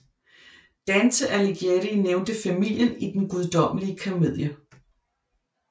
Dante Alighieri nævnte familien i Den Guddommelige Komedie